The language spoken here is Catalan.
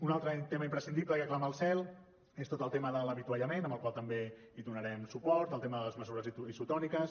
un altre tema imprescindible i que clama al cel és tot el tema de l’avituallament al qual també donarem suport el tema de les begudes isotòniques